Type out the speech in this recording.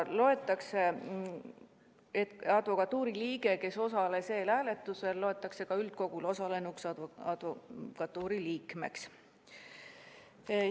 Advokatuuri liige, kes osales eelhääletusel, loetakse üldkogul osalenud advokatuuri liikmeks.